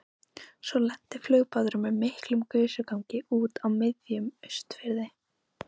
Svo lenti flugbáturinn með miklum gusugangi úti á miðjum Austurfirði.